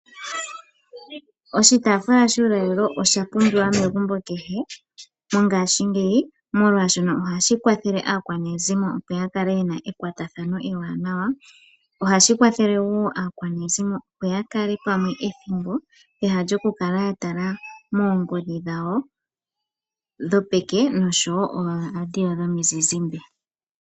Oshitaafula shuulalelo osha pumbiwa megumbo kehe mongashingeyi molwaashono ohashi kwathele aakwanezimo opo ya kale yena ekwatathano ewanawa. Ohashi kwathele wo aakwanezimo opo ya kale pamwe ethimbo pehala lyoku kala ya tala moongodhi dhawo dhopeke noshowo ooradio dhomizizimbe.